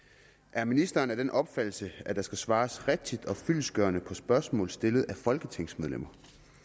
er ministeren af den opfattelse at der skal svares rigtigt og fyldestgørende på spørgsmål stillet af folketingsmedlemmer